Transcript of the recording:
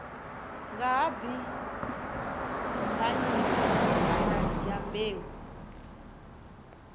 nga ha dimbanyika kana dyambeu